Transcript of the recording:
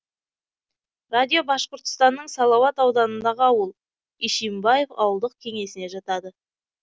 радио башқұртстанның салауат ауданындағы ауыл ишимбаев ауылдық кеңесіне жатады